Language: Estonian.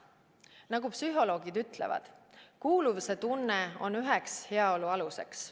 Nagu psühholoogid ütlevad, kuuluvuse tunne on üheks heaolu aluseks.